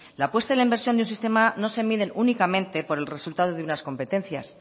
la apuesta en la inversión de un sistema no se miden únicamente por el resultado de unas competencias